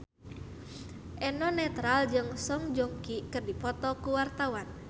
Eno Netral jeung Song Joong Ki keur dipoto ku wartawan